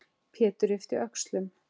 Pétur yppti öxlum.